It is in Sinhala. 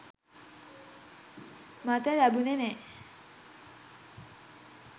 මට ලැබුණෙ නැහැ.